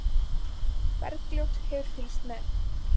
Bergljót hefur fylgst með.